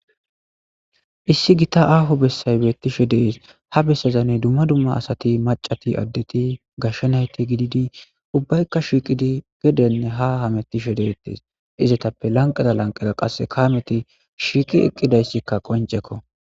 issi gita aaho bessay betishe dees ha bessezanne dumma dumma asati macati addeti gashshanayti gididi ubbaykka shiiqidi gedenne ha hamettishe deetes izetappe lanqada lanqeda qasse kaameti shiiqi eqqidayssikka qoncekko